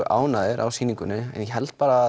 ánægðir á sýningunni en ég held að